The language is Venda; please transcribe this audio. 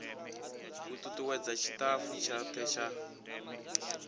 u tutuwedza tshitafu tshothe tsha